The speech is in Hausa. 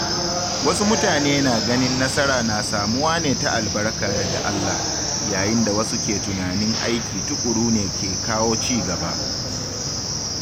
Wasu mutane na ganin nasara na samuwa ne ta albarka daga Allah, yayin da wasu ke tunanin aiki tuƙuru ne ke kawo cigaba.